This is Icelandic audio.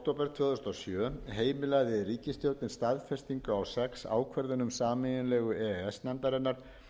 tvö þúsund og sjö heimilaði ríkisstjórnin staðfestingu á sex ákvörðunum sameiginlegu e e s nefndarinnar